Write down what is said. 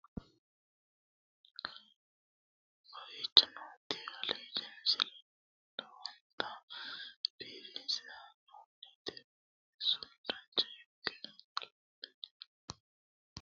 kowicho nooti aliidi misile lowonta biifinse haa'noonniti qooxeessano dancha ikkite la'annohano baxissanno misile leeltanni nooe ini misile lowonta biifffinnote yee hedeemmo yaate